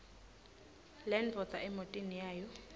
lendvodza emotini yayo